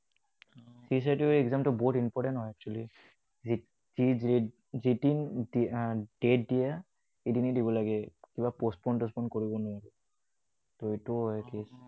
C certificate ৰ exam টো বহুত important হয় actually । যেতিয়াই date দিয়া, এদিনেই দিব লাগে। এইবিলাক postpone চচপন কৰিব নোৱাৰি। ত এইটোও একেই।